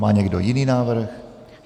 Má někdo jiný návrh?